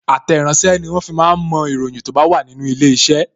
Àtẹ̀ràsẹ́ ni wọ́n fi máa ń mo ìròyìn tó bá wà nínú ilé iṣẹ́